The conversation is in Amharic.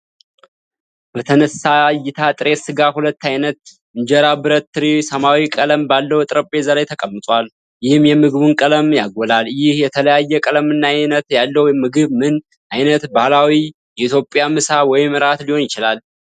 በተነሳ እይታ ጥሬ ሥጋ ፣ ሁለት ዓይነት ኢንጀራ ብረት ትሪ ሰማያዊ ቀለም ባለው ጠረጴዛ ላይ ተቀምጧል፣ ይህም የምግቡን ቀለሞች ያጎላል፤ ይህ የተለያየ ቀለምና ዓይነት ያለው ምግብ ምን ዓይነት ባህላዊ የኢትዮጵያ ምሳ ወይም እራት ሊሆን ይችላል?